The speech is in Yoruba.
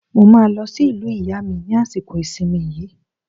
Mo máa lọ sí ìlú ìyá mi ní àsìkò ìsìnmi yìí.